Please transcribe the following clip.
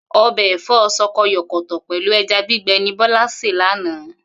O̩bè̩ è̩fó̩ s̩o̩ko̩yò̩kò̩tò̩ pè̩lú e̩ja gbigbe̩ ni Bó̩lá sè lánàá